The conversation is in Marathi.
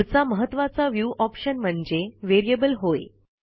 पुढचा महत्त्वाचा व्ह्यू ऑप्शन म्हणजे व्हेरिएबल होय